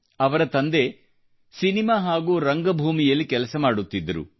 ಅವರ ತಂದೆ ಸಿನಿಮಾ ಹಾಗೂ ರಂಗಭೂಮಿಯಲ್ಲಿ ಕೆಲಸ ಮಾಡುತ್ತಿದ್ದರು